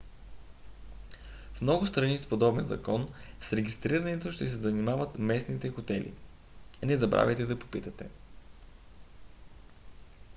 в много страни с подобен закон с регистрирането ще се занимават местните хотели не забравяйте да попитате